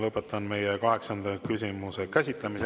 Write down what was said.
Lõpetan kaheksanda küsimuse käsitlemise.